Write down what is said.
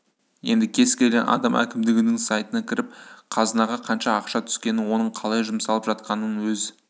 енді кез келген адам әкімдігінің сайтына кіріп қазынаға қанша ақша түскенін оның қалай жұмсалып жатқанын өз